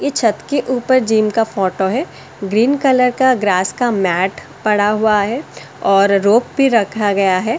ये छत के ऊपर जिम का फोटो है ग्रीन कलर का ग्रास का मैट पड़ा हुआ है और रोप भी रखा गया है ।